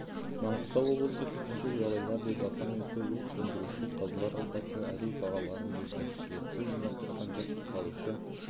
маңғыстау облысы төтенше жағдайлар департаменті өрт сөндіруші қазылар алқасы әділ бағаларын берді слетті ұйымдастырған жас құтқарушы